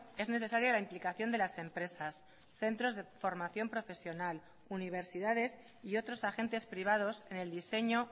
es necesaria la implicación de las empresas centros de formación profesional universidades y otros agentes privados en el diseño